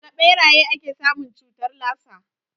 Daga ɓeraye ake samun cutar lasa